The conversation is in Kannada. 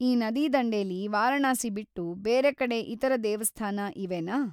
ಈ ನದಿದಂಡೆಲಿ ವಾರಣಾಸಿ ಬಿಟ್ಟು ಬೇರೆಕಡೆ ಇತರ ದೇವಸ್ಥಾನ ಇವೆನಾ?